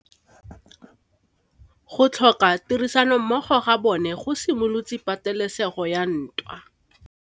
Go tlhoka tirsanommogo ga bone go simolotse patêlêsêgô ya ntwa.